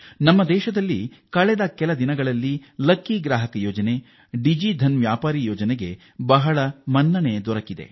ಇತ್ತೀಚಿನ ದಿನಗಳಲ್ಲಿ ಲಕ್ಕಿ ಗ್ರಾಹಕ ಯೋಜನೆ ಮತ್ತು ಡಿಜಿಧನ್ ವ್ಯಾಪಾರಿ ಯೋಜನೆಗಳಿಗೆ ಅಭೂತಪೂರ್ವ ಬೆಂಬಲ ದೊರೆತಿದೆ